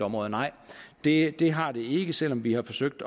områder nej det det har det ikke selv om vi har forsøgt